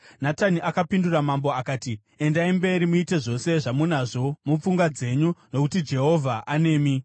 Natani akapindura mambo akati, “Endai mberi muite zvose zvamunazvo mupfungwa dzenyu, nokuti Jehovha anemi.”